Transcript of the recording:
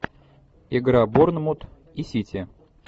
игра борнмут и сити